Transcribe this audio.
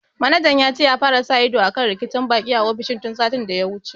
Manajan ya ce ya fara sa ido akan rikicin baƙi a ofishin tun satin da ya wuce